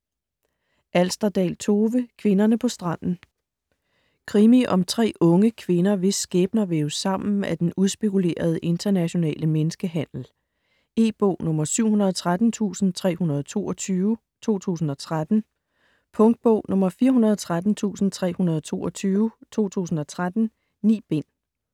Alsterdal, Tove: Kvinderne på stranden Krimi om tre unge kvinder, hvis skæbner væves sammen af den udspekulerede internationale menneskehandel. E-bog 713322 2013. Punktbog 413322 2013. 9 bind.